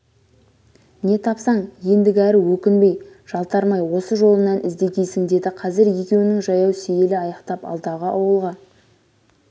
не тапсаң ендігәрі өкінбей жалтармай осы жолыңнан іздегейсің деді қазір екеуінің жаяу сейілі аяқтап алдағы ауылға